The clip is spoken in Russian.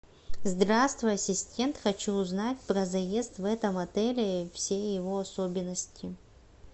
здравствуй ассистент хочу узнать про заезд в этом отеле и все его особенности